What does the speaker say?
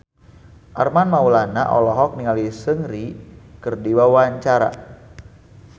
Armand Maulana olohok ningali Seungri keur diwawancara